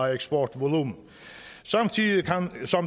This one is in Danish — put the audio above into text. af eksportvolumen samtidig